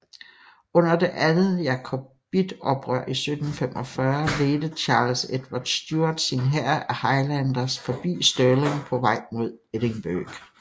Under det andet Jacobitoprør i 1745 ledte Charles Edvard Stuart sin hær af Highlanders forbi Stirling på vej mod Edinburgh